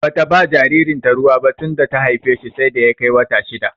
Bata ba jaririn ta ruwa bah tunda ta haife shi sai da ya kai wata shidda